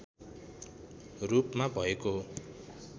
रूपमा भएको हो